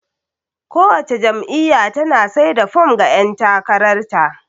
Kowace jam'iyya tana sai da fom ga ƴan takarar ta.